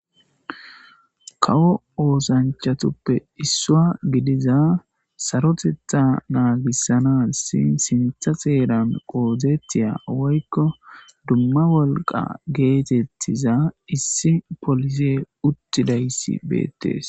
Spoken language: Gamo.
Kawo oosanchatuppe issowa gidiza sarotetha naagissanassi sintha xeera oothettiya woykko dumma wolqa geetettiza issi pose uttidaysi beettees.